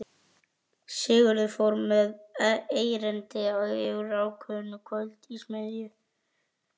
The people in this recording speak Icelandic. Sigurður fór með erindi úr kvæðinu Kvöld í smiðju